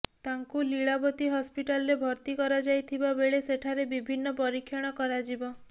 ତାଙ୍କୁ ଲିଳାବତୀ ହସ୍ପିଟାଲରେ ଭର୍ତ୍ତି କରାଯାଇଥିବା ବେଳେ ସେଠାରେ ବିଭିନ୍ନ ପରୀକ୍ଷଣ କରାଯିବ